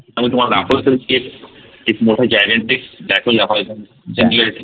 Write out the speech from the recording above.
त्यामध्ये तुम्हाला दाखवला असेल एक मोठा gigantic black hole दाखवला